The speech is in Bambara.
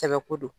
Sɛbɛ ko don